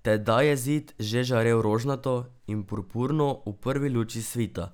Tedaj je Zid že žarel rožnato in purpurno v prvi luči svita.